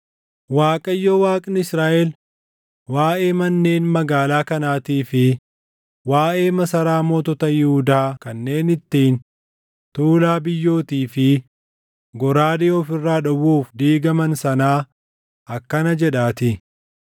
Waaqayyo Waaqni Israaʼel waaʼee manneen magaalaa kanaatii fi waaʼee masaraa mootota Yihuudaa kanneen ittiin tuulaa biyyootii fi goraadee of irraa dhowwuuf diigaman sanaa akkana jedhaatii;